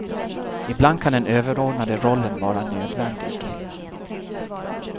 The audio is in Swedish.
Ibland kan den överordnade rollen vara nödvändig.